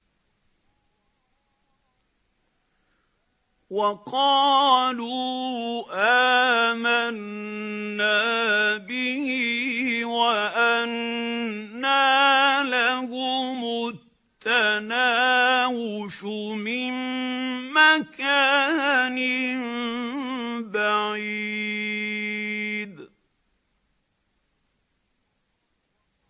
وَقَالُوا آمَنَّا بِهِ وَأَنَّىٰ لَهُمُ التَّنَاوُشُ مِن مَّكَانٍ بَعِيدٍ